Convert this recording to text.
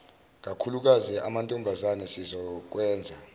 kakhulukazi amantombazane sizokwenza